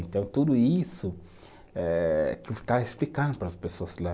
Então, tudo isso eh, que eu ficava explicando para as pessoas lá.